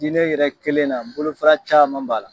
Diinɛ yɛrɛ kɛlen na bolofara caman b'a la.